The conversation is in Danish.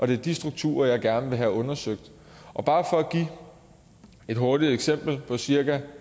det er de strukturer jeg gerne vil have undersøgt bare for at give et hurtigt eksempel på cirka en